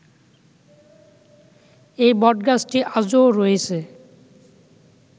এই বটগাছটি আজও রয়েছে